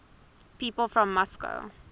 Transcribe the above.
people from moscow